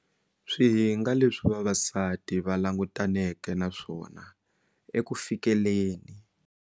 Swihinga leswi vavasati va langutaneke na swona eku fikeleni.